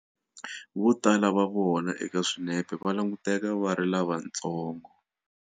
Votala va vona eka swinepe va languteka va ri lavantsongo.